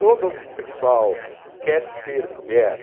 Todo homossexual quer ser mulher?